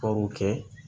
Baro kɛ